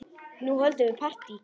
Nú höldum við partí!